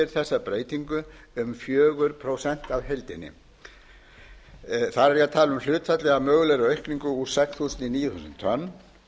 þessa breytingu um fjögur prósent af heildinni þar er ég að tala um hlutfallið af mögulegri aukningu úr sex þúsund í níu þúsund tonn